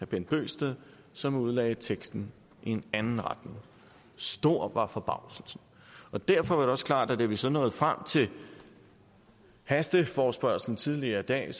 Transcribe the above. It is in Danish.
bent bøgsted som udlagde teksten i en anden retning stor var forbavselsen derfor var det også klart at da vi så nåede frem til hasteforespørgslen tidligere i dag